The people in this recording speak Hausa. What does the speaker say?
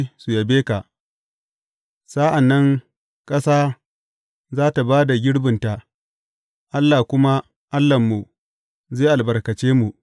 Sa’an nan ƙasa za tă ba da girbinta Allah kuma, Allahnmu, zai albarkace mu.